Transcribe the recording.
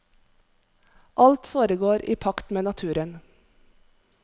Alt foregår i pakt med naturen.